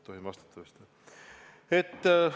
Tohin vist vastata.